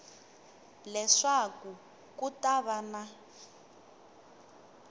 leswaku ku ta va na